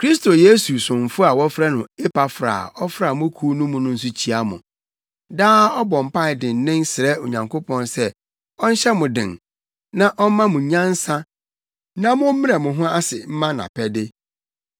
Kristo Yesu somfo a wɔfrɛ no Epafra a ɔfra mo kuw mu no nso kyia mo. Daa ɔbɔ mpae dennen srɛ Onyankopɔn sɛ ɔnhyɛ mo den na ɔmma mo nyansa na mommrɛ mo ho ase mma nʼapɛde.